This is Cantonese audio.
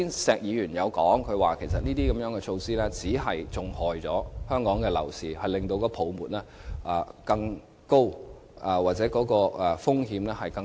石議員剛才提到，這些措施只會害了香港樓市，令泡沫風險更高。